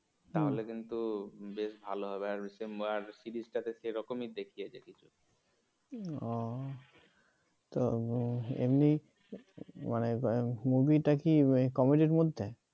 তাহলে কিন্তু বেশ ভালো হবে আর আর series তো সেরকমই দেখিয়েছে কিছু ও তো এমনি movie মানে movie টা কি comedy মধ্যে?